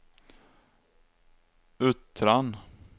Uttran